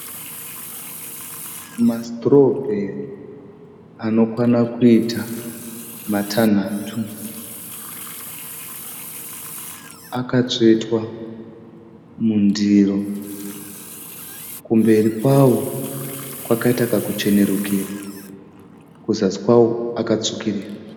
Ma(strawberry) anokwana kuita matanhatu. Akatsvetwa mundiro. Kumberi kwawo kwakaita kakuchenerukira kuzasi kwawo akatsvukirira.